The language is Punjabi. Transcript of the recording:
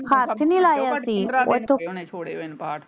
ਤੇ ਮੈਨੂੰ ਲਗਦਾ ਹੱਥ ਨਹੀਂ ਲਾਇਆ ਠੀਕ ਓਥੋਂ